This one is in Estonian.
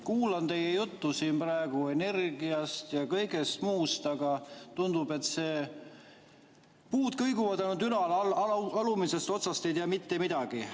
Kuulan teie juttu siin praegu energiast ja kõigest muust, aga tundub, et puud kõiguvad ainult ülal, alumisest otsast ei tea mitte midagi.